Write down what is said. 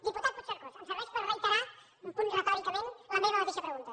diputat puigcercós em serveix per reiterar un punt retòricament la meva mateixa pregunta